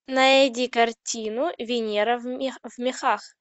найди картину венера в мехах